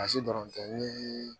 Basi dɔrɔn tɛ ni